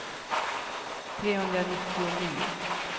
trehundranittionio